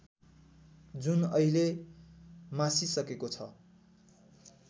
जुन अहिले मासिसकेको छ